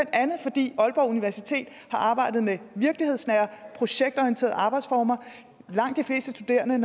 fordi aalborg universitet har arbejdet med virkelighedsnære projektorienterede arbejdsformer for langt de fleste studerende